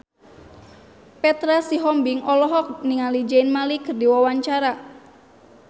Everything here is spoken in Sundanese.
Petra Sihombing olohok ningali Zayn Malik keur diwawancara